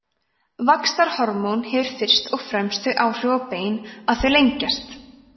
vaxtarhormón hefur fyrst og fremst þau áhrif á bein að þau lengjast